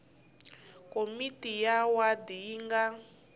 komiti ya wadi yi nga